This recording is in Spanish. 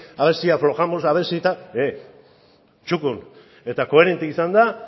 haber si aflojamos a ver si tal txukun eta koherente izanda